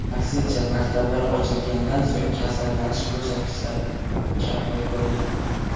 Aksincha, maktablar ochilgandan so‘ng kasallanish ko‘rsatkichlari kamayib borgan.